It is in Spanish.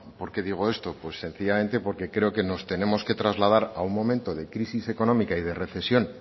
por qué digo esto sencillamente porque creo que nos tenemos que trasladar a un momento de crisis económica y de recesión